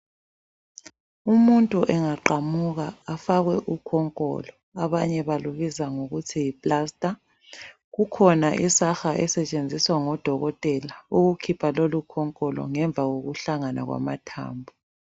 Umuntu engaqamuka afakwe ukhonkolo abanye balubiza ngokuthi yi plaster. Kukhona isaha esetshenziswa ngodokotela ukukhipha lolu khonkolo ngemva kokuhlangana kwamathambo.